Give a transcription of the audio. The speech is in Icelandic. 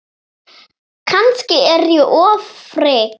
Kannski er ég ofvirk.